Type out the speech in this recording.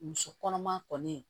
Muso kɔnɔma kɔni